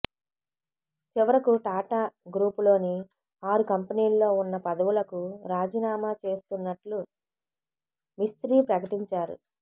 చివరకు టాటా గ్రూపులోని ఆరు కంపెనీల్లో ఉన్న పదవులకు రాజీనామా చేస్తున్నట్లు మిస్త్రీ ప్రకటించారు